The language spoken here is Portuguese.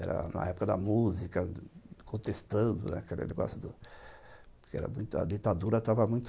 Era na época da música, contestando aquele negócio do... Porque era muito... A ditadura estava muito...